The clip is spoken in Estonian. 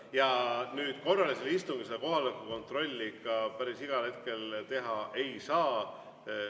Ja korralisel istungil kohaloleku kontrolli päris igal hetkel teha ei saa.